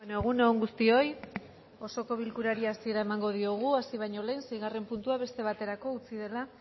egun on guztioi osoko bilkurari hasiera emango diogu hasi baino lehen seigarren puntua beste baterako utzi dela